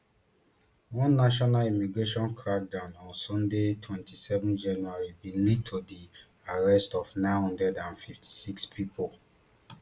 one nationwide immigration crackdown on sunday twenty-seven january bin lead to di arrest of nine hundred and fifty-six pipo